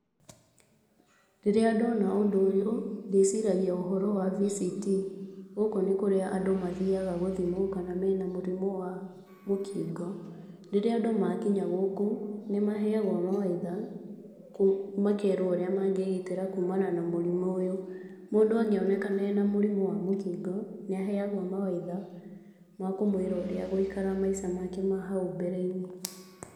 Rĩrĩa ndona ũndũ ũyũ ndĩciragia ũhoro wa VCT. Gũkũ nĩkuo andũ mathiyaga gũthimwo kana mena mũrimũ wa mũkingo. Rĩrĩa andũ makinya gũkũ nĩmaheyagwo mawaitha, makerwo ũrĩa mangĩgitĩra kumana na mũrimũ ũyũ. Mũndũ angĩonekana arĩ na mũrimũ wa mũkingo nĩaheyagwo mawaitha ma kũmwĩra ũrĩa agũikara maica make ma hau mbere-inĩ.